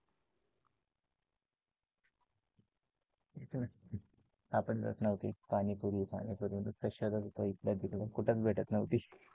सापडतच नव्हती पाणीपुरी पाणीपुरी नुसताच शोधात होतो इकडं तिकडं कुठेच भेटत नव्हत